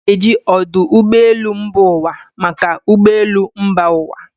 A na-eji ọdụ ụgbọ elu mba ụwa maka ụgbọ elu mba ụwa.